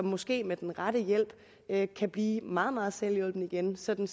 måske med den rette hjælp blive meget selvhjulpne igen sådan